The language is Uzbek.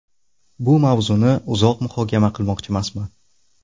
Bu mavzuni uzoq muhokama qilmoqchimasman.